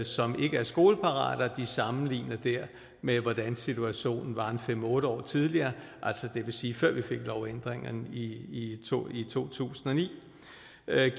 som ikke er skoleparate og de sammenligner det med hvordan situationen var fem otte år tidligere det vil sige før vi fik lovændringen i to i to tusind og ni